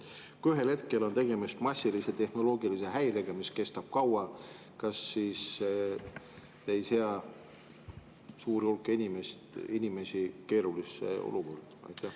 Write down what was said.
Kui ühel hetkel on tegemist massilise tehnoloogilise häirega, mis kestab kaua, kas siis see ei sea suurt hulka inimesi keerulisse olukorda?